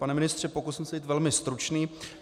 Pane ministře, pokusím se být velmi stručný.